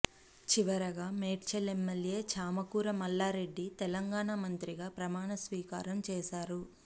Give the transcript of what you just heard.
చివరగా మేడ్చల్ ఎమ్మెల్యే చామకూర మల్లారెడ్డి తెలంగాణ మంత్రిగా ప్రమాణ స్వీకారం చేశారు